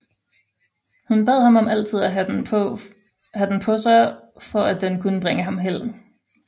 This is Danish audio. Hun bad ham om altid at have den på sig for at den kunne bringe ham held